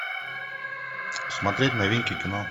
смотреть новинки кино